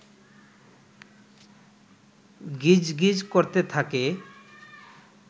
গিজ গিজ করতে থাকে